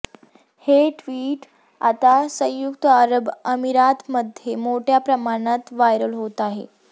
हे ट्वीट आता संयुक्त अरब अमिरातमध्ये मोठ्या प्रमाणावर व्हायरल होत आहे